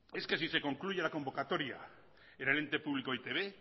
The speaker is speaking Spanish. es que si se concluye la convocatoria en el ente público e i te be